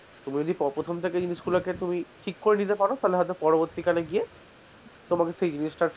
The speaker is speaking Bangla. তুমি যদি প্রথম থেকে জিনিসগুলাকে তুমি ঠিক করে নিতে পারো তাহলে হয়তো পরবর্তী কালে গিয়ে তোমাকে সেই জিনিটা,